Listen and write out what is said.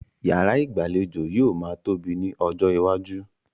Yàrá ìgbàlejò yóò máa tóbi ní ọjọ́ iwájú.